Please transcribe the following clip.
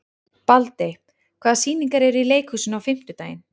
Baldey, hvaða sýningar eru í leikhúsinu á fimmtudaginn?